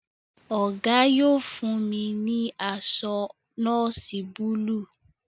Ogo yóò fún mí ní aṣọ nọọsi Búlúù.